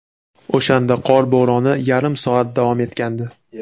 O‘shanda qor bo‘roni yarim soat davom etgandi.